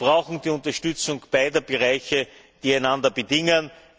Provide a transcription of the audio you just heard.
Wir brauchen die Unterstützung beider Bereiche, die einander bedingen.